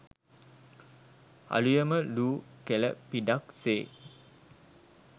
අලුයම ලූ කෙළ පිඩක් සේ